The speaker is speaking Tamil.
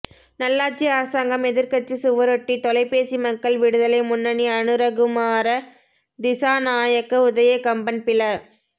நல்லாட்சி அரசாங்கம் எதிர்க்கட்சி சுவரொட்டி தொலைபேசி மக்கள் விடுதலை முன்னணி அனுரகுமார திஸாநாயக்க உதய கம்பன் பில